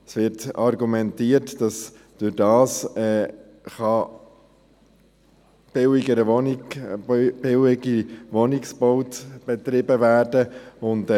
Es wird argumentiert, dass dadurch billigerer Wohnungsbau betrieben werden könne.